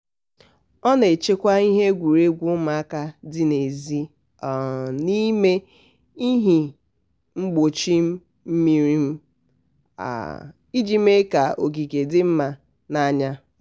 ọ na-echekwa ihe egwuregwu ụmụaka dị n'ezi um n'ime ihe mgbochi mmiri um iji mee ka ogige dị mma n'anya.